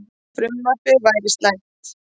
Frumvarpið væri slæmt